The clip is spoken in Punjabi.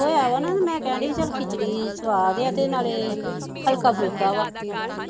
ਹੋਰ ਮੈਂ ਕਹਿਣ ਦਈ ਚੱਲ ਖਿਚੜੀ ਸੁਆਦ ਆ ਤੇ ਨਾਲੇ ਹਲਕਾ ਫੁਲਕਾ ਆ